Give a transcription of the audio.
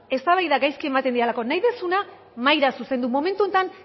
eztabaida gaizki ematen didalako nahi duzuna mahaira zuzendu momentu honetan